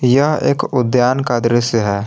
यह एक उद्यान का दृश्य है।